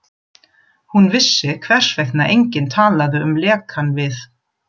Hún vissi, hvers vegna enginn talaði um lekann við